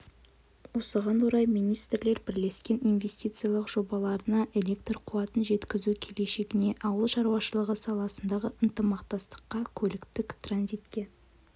осыған орай министрлер бірлескен инвестициялық жобаларына электр қуатын жеткізу келешегіне ауыл шаруашылығы саласындағы ынтымақтастыққа көліктік транзитке